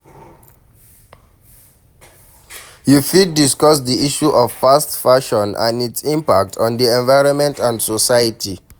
You fit discuss di issue of fast fashion and its impact on di environment and society.